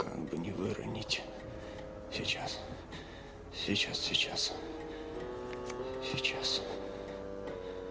как бы не выронить сейчас сейчас сейчас сейчас